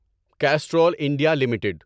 Castrol India limited